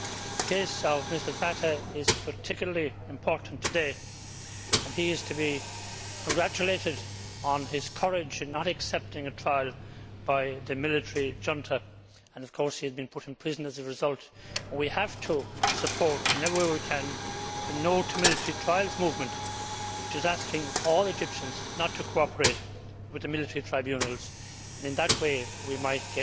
The case of Mr Fatah is particularly important today and he is to be congratulated on his courage in not accepting a trial by the military junta, and of course he has been put in prison as a result. We have to support in every way we can the No to Military Trials' movement which is asking all Egyptians not to cooperate with the military tribunals. In that way, we might